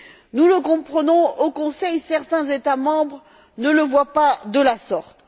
Nous le comprenons, mais au Conseil, certains États membres ne le voient pas de la sorte.